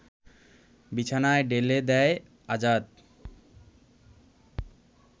বিছানায় ঢেলে দেয় আজাদ